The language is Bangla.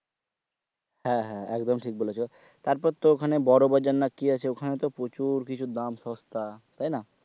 হ্যাঁ হ্যাঁ একদম ঠিক বলছো তারপর তো ওখানে বড়ো বাজার না কি আছে ওখানে তো প্রচুর কিছু দাম সস্তা তাই না?